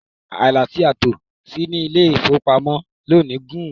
Ilà ti a tò sí ní ilé-ìfowópamọ́sí lónì gún-ùn.